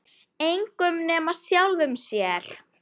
Engum nema sjálfum sér.